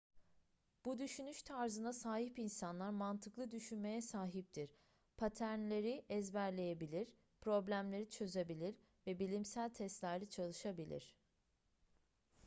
bu düşünüş tarzına sahip insanlar mantıklı düşünmeye sahiptir paternleri ezberleyebilir problemleri çözebilir ve bilimsel testlerde çalışabilir